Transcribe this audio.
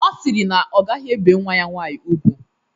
Ọ siri na ọ gaghi ebe nwa ya nwaanyi ùgwú.